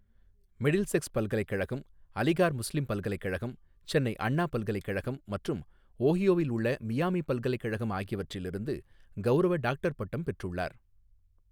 Middlesex பல்கலைக்கழகம், Aligarh Muslim பல்கலைக்கழகம், சென்னை அண்ணா பல்கலைக்கழகம் மற்றும் ஓஹியோவில் உள்ள மியாமி பல்கலைக்கழகம் ஆகியவற்றிலிருந்து கெளரவ டாக்டர் பட்டம் பெற்றுள்ளார்.